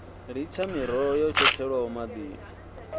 litsha miroho yo tshetshelwaho maḓini